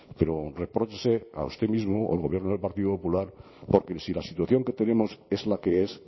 pero repróchese a usted mismo al gobierno del partido popular porque si la situación que tenemos es la que es